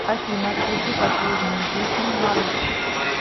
афина включи последнюю песню маруф